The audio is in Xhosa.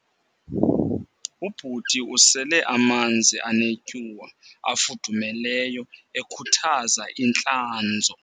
Ubhuti usele amanzi anetyuwa afudumeleyo ekhuthaza intlanzo